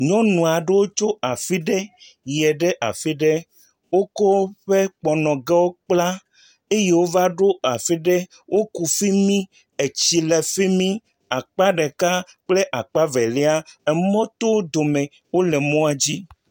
Nyɔnu aɖewo tso afi ɖe yie ɖe afi ɖe, wokɔ woƒe kpɔnɔgawo kpla eye wova ɖo afi ɖe. Woku fi mi, tsi le fi mi, akpa ɖeka kple akpa velia, emɔ to wo dome, wole mɔa dzi.